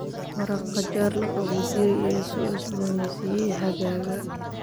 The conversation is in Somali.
Maraq qajaar la qaboojiyey ayaa soo cusboonaysiiyey xagaaga.